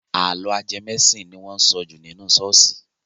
Àlọ́ ajẹmọ́-ẹ̀sìn ni wọ́n ń sọ jù nínú ṣọ́ọ̀ṣì.